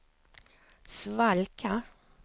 svalka